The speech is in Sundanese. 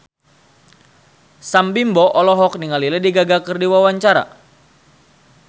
Sam Bimbo olohok ningali Lady Gaga keur diwawancara